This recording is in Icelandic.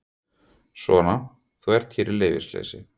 Svona, þú ert hér í leyfisleysi.